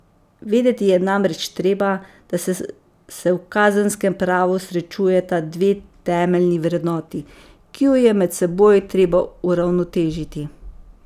Vedeti je namreč treba, da se v kazenskem pravu srečujeta dve temeljni vrednoti, ki ju je med seboj treba uravnotežiti.